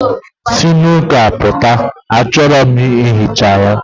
Si n'ụka pụta, achọrọ m ihicha ya.